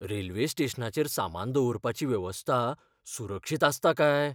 Railway स्टेशनाचेर सामान दवरपाची वेवस्था सुरक्षीत आसता काय?